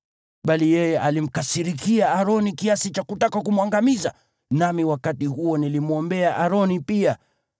Bali yeye alimkasirikia Aroni kiasi cha kutaka kumwangamiza, nami wakati huo nilimwombea Aroni pia.